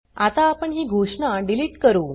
आता आपण ही घोषणा डिलीट करू